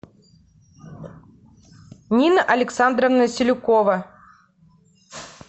нина александровна селюкова